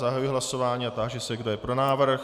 Zahajuji hlasování a táži se, kdo je pro návrh.